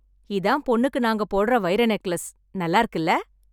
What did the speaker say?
இதான் பொண்ணுக்கு நாங்க போடுற வைர நெக்லஸ்... நல்லாருக்குல..